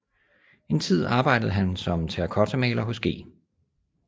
En tid arbejdede han som terrakottamaler hos G